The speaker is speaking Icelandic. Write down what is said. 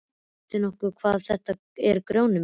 Veist þú nokkuð hvað þetta er Grjóni minn.